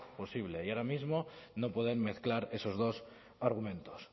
posible y ahora mismo no pueden mezclar esos dos argumentos